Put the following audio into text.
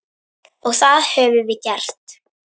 Og það höfum við gert.